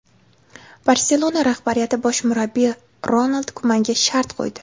"Barselona" rahbariyati bosh murabbiy Ronald Kumanga shart qo‘ydi.